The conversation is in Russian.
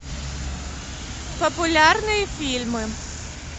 популярные фильмы